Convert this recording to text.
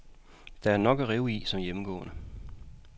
Der er nok at rive i som hjemmegående.